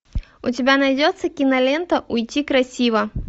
у тебя найдется кинолента уйти красиво